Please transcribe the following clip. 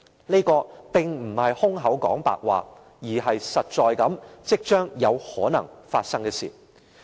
這並非空談，而是實在、即將有可能發生的事。